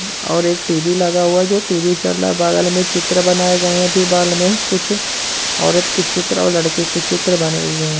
और एक टी.वी. लगा हुआ जो टी.वी चल रहा है बगल में चित्र बनाए गए दीवाल में कुछ औरत के चित्र और लड़के के चित्र बने हुए हैं।